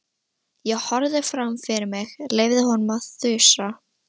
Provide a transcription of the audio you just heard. Ég horfði fram fyrir mig, leyfði honum að þusa.